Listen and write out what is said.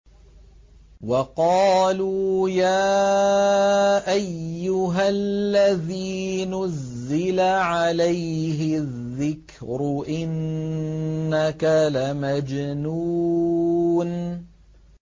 وَقَالُوا يَا أَيُّهَا الَّذِي نُزِّلَ عَلَيْهِ الذِّكْرُ إِنَّكَ لَمَجْنُونٌ